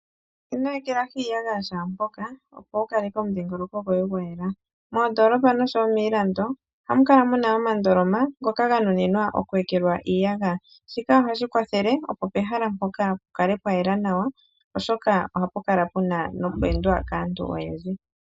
Ino ekelahi iiyagaya shaampoka opo wu kaleke omudhingoloko goye gwa yela. Moondoolopa nosho wo miilando, ohamu kala muna omandoloma ngoka ga nuninwa oku ekelwa iiyagayaya. Shika ohashi kwathele opo pehala mpoka pu kale pwa yela nawa, oshoka ohapu kala pu na noku edwa kaantu oyendji.